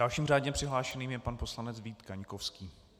Dalším řádně přihlášeným je pan poslanec Vít Kaňkovský.